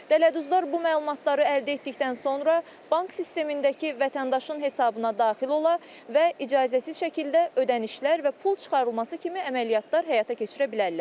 Dələduzlar bu məlumatları əldə etdikdən sonra bank sistemindəki vətəndaşın hesabına daxil ola və icazəsiz şəkildə ödənişlər və pul çıxarılması kimi əməliyyatlar həyata keçirə bilərlər.